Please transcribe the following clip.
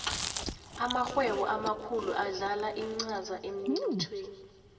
amarhwebo amakhulu adlala incaza emnothweni